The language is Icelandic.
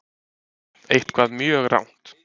Eitthvað mjög rangt.